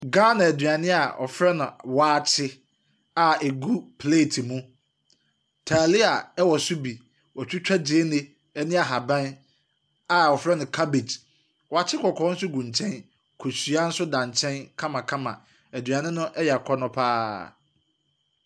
Ghana aduane a wɔfrɛ no waakye a agu plate mu, taalia ɛwɔ so bi. Wɔatwitwa gyeene ne nhaban a wɔfrɛ no cabbage. Wɔakye kɔkɔɔ nso gu nkyɛn, kosua nso da nkyɛn kamakama. Aduane no ɛyɛ akɔnnɔ pa ara.